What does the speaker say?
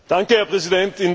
Herr Präsident!